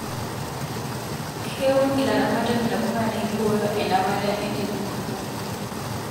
Keun ilaramatak ntapuka naiboyo enapata enterit tenchan